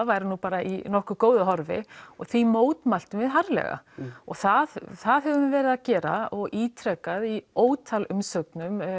væru bara í nokkuð góðum horfi og því mótmæltum við harðlega og það það höfum við verið að gera og ítreka í ótal umsögnum